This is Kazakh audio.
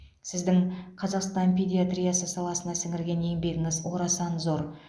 сіздің қазақстан педиатриясы саласына сіңірген еңбегіңіз орасан зор